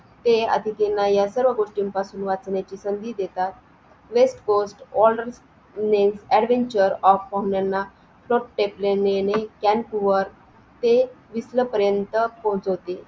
ते अतिथी ना या सर्व गोष्टीपासून वाचवतात संधी देतात west course advenchar of पाहुण्यांना कॅन्क वर ते तिथं पर्यत पोहचवतील